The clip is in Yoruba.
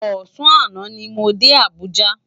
Òsàn àná ni mó dé Abuja